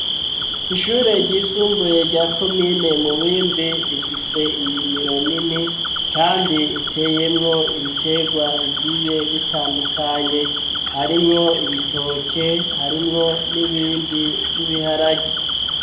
Ishure ryisumbuye rya komine Mubimbi, rifise indimiro nini kandi iteyemwo ibitegwa bigiye bitandukanye, harimwo ibitoke, harimwo n'ibindi nk'ibiharage.